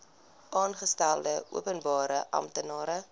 aangestelde openbare amptenaar